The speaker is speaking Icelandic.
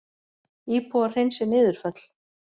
Íbúar hreinsi niðurföll